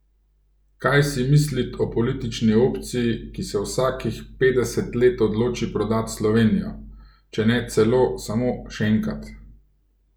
Kaj si mislit o politični opciji ki se vsakih petdeset let odloči prodat Slovenijo, če ne celo samo šenkat.